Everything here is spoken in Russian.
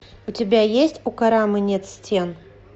у тебя есть у карамы нет стен